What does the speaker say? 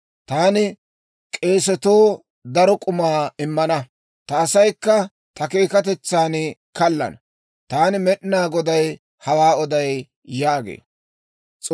Taani k'eesatoo daro k'umaa immana; ta asaykka ta keekatetsan kaallana. Taani Med'inaa Goday hawaa oday» yaagee.